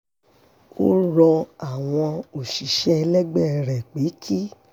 ó rọ àwọn òṣìṣẹ́ ẹlẹgbẹ́ rẹ̀ pé kí